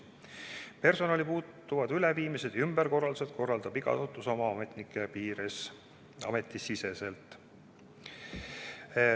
Personali puutuvad üleviimised ja ümberkorraldused korraldab iga asutus oma ametnike piires ametisiseselt.